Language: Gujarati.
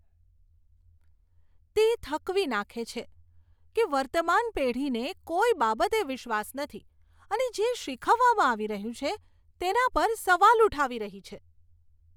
તે થકવી નાંખે છે કે વર્તમાન પેઢીને કોઈ બાબતે વિશ્વાસ નથી અને જે શીખવવામાં આવી રહ્યું છે તેના પર સવાલ ઉઠાવી રહી છે.